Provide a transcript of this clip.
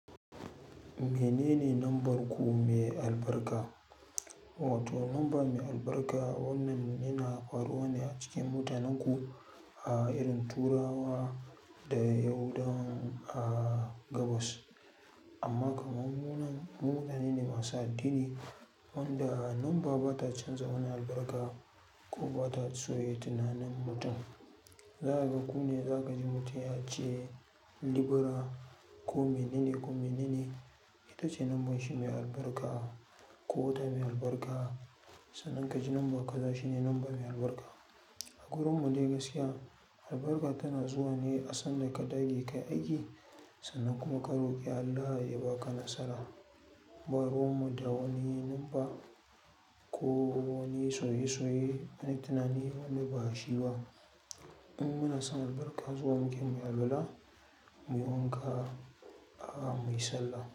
Menene lambar ku mai albarka? Wato lamba mai albarka wannan yana faruwa ne acikin matanenku a irin turawa da yahudawan gabas. Amma kaman mu nan mu matane ne masu addini wanda lamaba bata canja wani albarka kuma bata soya tunanin mutum. Za kaga kune za kaji mutum yace Libra ko menene ko menene itace lambarshi mai albarka ko wata mai albarka. Sannan kaji lamba kaza shine lamba mai albarka. A gurinmu dai gaskiya, albarka tana zuwane asan daka dage kayi aiki sannan kuma ka roƙi Allah ya baka nasara. Ba ruwanmu da wani lamba ko wani sauye-sauye, na tunani wanda bashi ba. In muna son albarka zuwa muke muyi alwala, muyi wanka a muyi sallah.